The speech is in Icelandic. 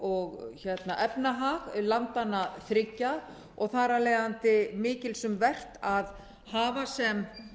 og efnahag landanna þriggja og þar af leiðandi mikils um vert að hafa sem